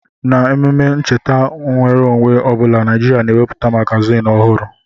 N'ememe ncheta nnwere onwe ọ bụla, Naịjirịa na-ewepụta magaziini ọhụrụ.